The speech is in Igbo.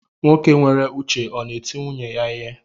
Nwoke nwere uche ọ na eti nwunye ya ihe?